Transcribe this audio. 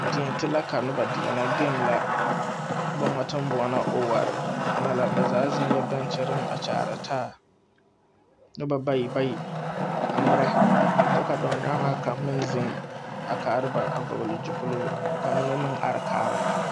Deɛnti la ka nobɔ deɛnɛ game la boŋa teŋ boɔlɔ ɔware onɔ la ba zaa zeŋyɛɛ bɛnkyireŋ a kyaare taa kyɛ ba bayi bayi a ngmirɛ kyɛ ka dɔɔ ngaaŋaa kaŋ meŋ zeŋ a kaara ba a vɔgle zupiloo ka mine meŋ are kaara.